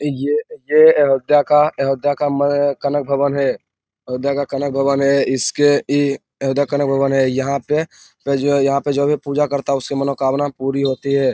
ये ये अयोध्या का अयोध्या का मं- कनक भवन है अयोध्या का कनक भवन है इसके इ अयोध्या का कनक भवन है यहां पे जो यहां पे जो भी पूजा करता है उसकी मनोकामना पूरी होती है।